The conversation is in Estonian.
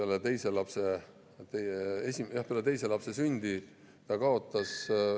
Olen ise näinud, kuidas abikaasa peale teise lapse sündi kaotas …